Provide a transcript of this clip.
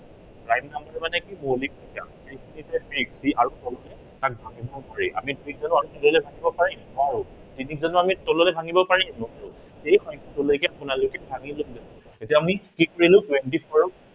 prime number মানে কি, মৌলিক সংখ্য়া। যিটো সংখ্য়াক আৰু তললৈ ভাঙিব নোৱাৰি। আমি তিনিক জানো আৰু তললৈ ভাঙিব পাৰিম, নোৱাৰো। তিনিক জানো তললৈ ভাঙিব পাৰিম, নোৱাৰো। সেই সংখ্য়াটোলৈকে আপোনালোকে ভাঙিব লাগিব। এতিয়া আমি কি কৰিলো, twenty four ক